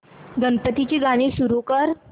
गणपती ची आरती सुरू कर